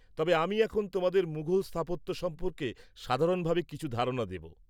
-তবে আমি এখন তোমাদের মুঘল স্থাপত্য সম্পর্কে সাধারণভাবে কিছু ধারণা দেব।